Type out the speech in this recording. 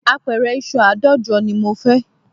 Apẹ̀rẹ̀ ìṣù àádọ́jọ ni mo fẹ́